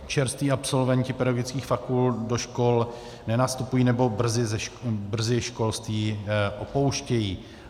Čerství absolventi pedagogických fakult do škol nenastupují nebo brzy školství opouštějí.